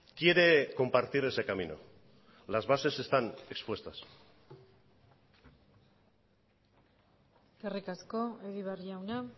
quiere compartir ese camino las bases están expuestas eskerrik asko egibar jauna